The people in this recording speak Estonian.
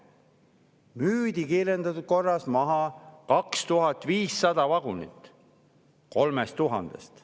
Siis müüdi kiirendatud korras maha 2500 vagunit 3000-st.